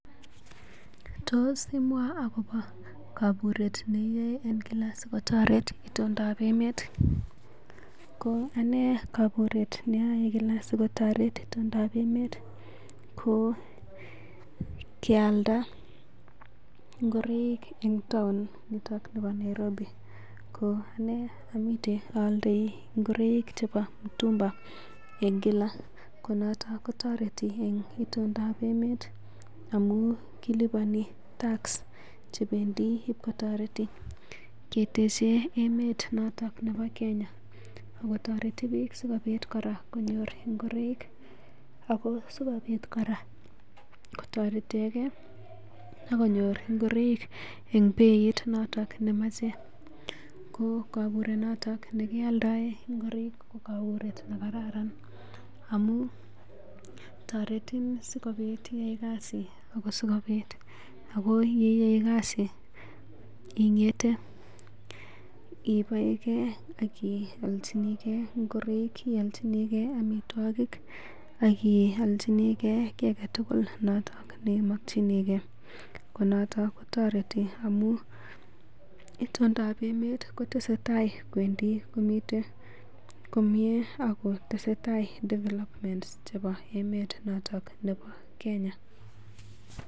Tos imwaa kaburet neiyae en Kila asikotoret itondab emet ko anee kaburet nayae Kila sikotaret itondab emet ko kealda [pause ngoroik en town niton nebo Nairobi ko anee amiten ayaldei ngoroik chebo mitumba en Kila konoton kotoreti en itondab emet amun kilipani tax che bendii ib kotoreti ketechen emet noton nebo Kenya ago toreti biik sikobit koraa konyor ngoroik ago sikobit koraa kotoretekee ak konyor ngoroik en beit noton nemache ko kaburet noton ne kiyaldaen ngoroik ko kaburet nekararan amun toretin sikobit iyai kasit ago sikobit iyai kasit ingetee ii baekee ak iyolchinikee ngoroik iyolchinikee amitwogik ak iyolchinikee kii agetugul noton nemakchinikee noton kotoreti amun itondab emet kotesetai kowendi komiten komii ago tesetai development chebo emet noton nebo Kenya